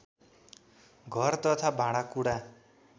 घर तथा भाँडाकुडा